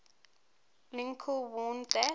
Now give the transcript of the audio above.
lincoln warned that